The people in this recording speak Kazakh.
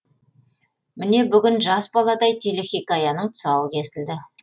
міне бүгін жас баладай телехикаяның тұсауы кесілді